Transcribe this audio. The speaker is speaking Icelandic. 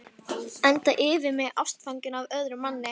Enda yfir mig ástfangin af öðrum manni.